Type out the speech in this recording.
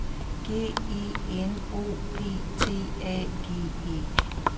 G E N O P T A G E